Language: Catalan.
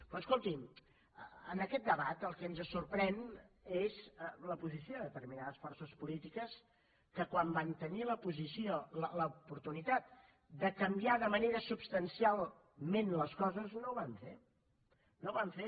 però escoltin en aquest debat el que ens sorprèn és la posició de determinades forces polítiques que quan van tenir la posició l’oportunitat de canviar de manera substancialment les coses no ho van fer no ho van fer